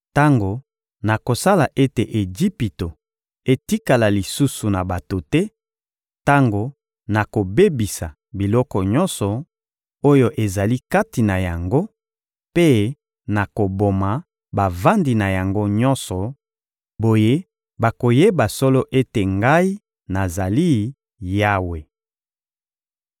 Tango nakosala ete Ejipito etikala lisusu na bato te, tango nakobebisa biloko nyonso oyo ezali kati na yango mpe nakoboma bavandi na yango nyonso; boye bakoyeba solo ete Ngai, nazali Yawe.›